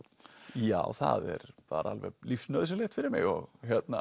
já það er bara alveg lífsnauðsynlegt fyrir mig og